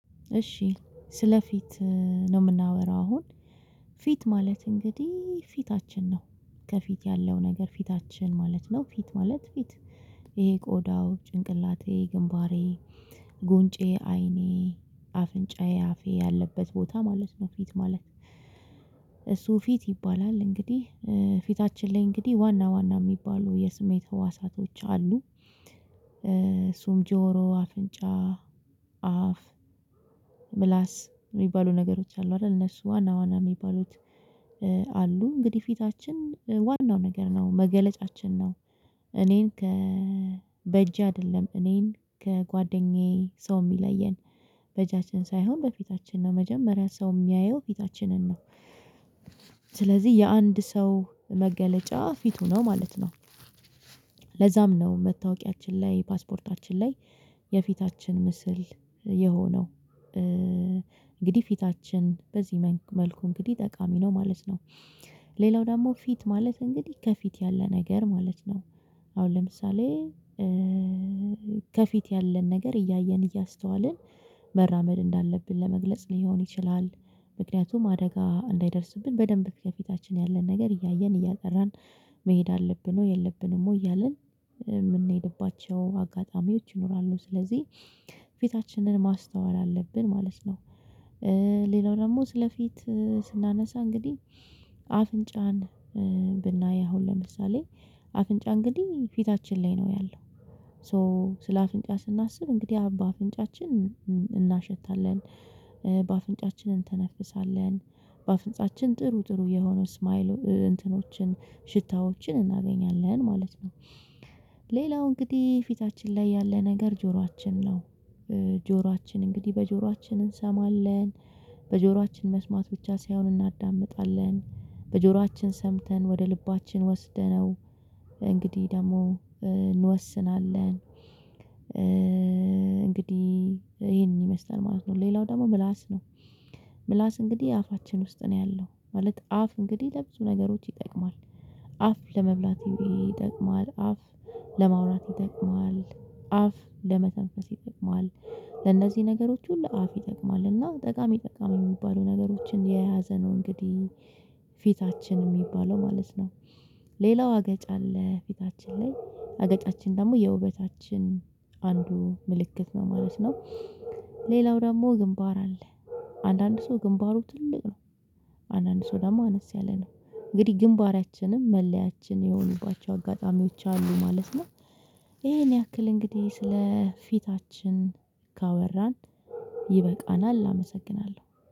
እሺ ስለፊት ነው የምናወራው። አሁን ፊት ማለት እንግዲህ ፊታችን ነው። ከፊት ያለው ነገር ፊታችን ማለት ነው ፊት ማለት ፊት ይሄ ቆዳው ጭንቅላቴ ግንባሬ ጉንጬ አይኔ አፍንጫዬ አፌ ያለበት ቦታ ማለት ነው። ፊት ማለት እሱ ፊት ይባላል። እንግዲህ ፊታችን ላይ እንግዲህ ዋና ዋና የሚባሉ የስሜት ህዋሳቶች አሉ። እሱም ጆሮ አፍንጫ አፍ ምላስ የሚባሉ ነገሮች አሉ አይደል እነሱ ዋና ዋና የሚባሉት አሉ እንግዲህ ፊታችን ዋናው ነገር ነው መገለጫችን ነው። እኔን ከ በእጄ አይደለም እኔን ከጓደኛዬ ሰው የሚለየን በእጃችን ሳይሆን በፊታችን ነው መጀመሪያ ሰው የሚያየው ፊታችንን ነው። ስለዚህ የአንድ ሰው መገለጫ ፊቱ ነው ማለት ነው። ለዛም ነው መታወቂያችን ላይ ፓስፖርታችን ላይ የፊታችን ምስል የሆነው። እንግዲህ ፊታችን በዚህ መልኩ እንግዲህ ጠቃሚ ነው ማለት ነው። ሌላው ደግሞ ፊት ማለት እንግዲህ ከፊት ያለ ነገር ማለት ነው። አሁን ለምሳሌ ከፊት ያለን ነገር እያየን እያስተዋልን መራመድ እንዳለብን ለመግለጽ ሊሆን ይችላል። ምክንያቱም አደጋ እንዳይደርስብን በደንብ ከፊታችን ያለን ነገር እያየን እያጠራን መሄድ አለብን ወይ የለብንም ወይ እያልን የምንሄድባቸው አጋጣሚዎች ይኖራሉ። ስለዚህ ፊታችንን ማስተዋል አለብን ማለት ነው። ሌላው ደግሞ ስለፊት ስናነሳ እንግዲህ አፍንጫን ብናይ አሁን ለምሳሌ አፍንጫ እንግዲህ ፊታችን ላይ ነው ያለው። ሶ ስለ አፍንጫ ስናስብ እንግዲህ አሁን በአፍንጫችን እናሸታለን በአፍንጫችን እንተነፍሳለን በአፍንጫችን ጥሩ ጥሩ የሆነው ስማይል እንትኖችን ሽታዎችን እናገኛለን ማለት ነው። ሌላው እንግዲህ ፊታችን ላይ ያለ ነገር ጆሯችን ነው። ጆሯችን እንግዲህ በጆሯችን እንሰማለን በጆሯችን መስማት ብቻ ሳይሆን እናዳምጣለን በጆሯችን ሰምተን ወደ ልባችን ወስደነው እንግዲህ ደግሞ እንወስናለን። እንግዲህ ይሄንን ይመስለኛል ማለት ነው ሌላው ደግሞ ምላስ ነው። ምላስ እንግዲህ አፋችን ውስጥ ነው ያለው ማለት አፍ እንግዲህ ለብዙ ነገሮች ይጠቅማል። አፍ ለመብላት ይጠቅማል አፍ ለማውራት ይጠቅማል አፍ ለመተንፈስ ይጠቅማል ለእነዚህ ነገሮች ሁሉ አፍ ይጠቅማል እና ጠቃሚ ጠቃሚ የሚባሉ ነገሮችን የያዘ ነው። እንግዲህ ፊታችን የሚባለው ማለት ነው። ሌላው አገጭ አለ ፊታችን ላይ አገጫችን ደግሞ የውበታችን አንዱ ምልክት ነው ማለት ነው። ሌላው ደግሞ ግንባር አለ። አንዳንድ ሰው ግንባሩ ትልቅ ነው። አንዳንድ ሰው ደግሞ አነስ ያለ ነው። እንግዲህ ግንባራችንም መለያችን የሆኑባቸው አጋጣሚዎች አሉ ማለት ነው። ይሄን ያክል እንግዲህ ስለ ፊታችን ካወራን ይበቃናል አመሰግናለሁ